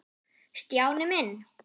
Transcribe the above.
Stjáni minn.